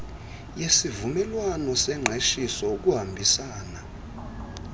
yesivumelwano sengqeshiso ukuhambisana